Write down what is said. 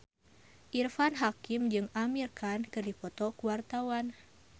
Irfan Hakim jeung Amir Khan keur dipoto ku wartawan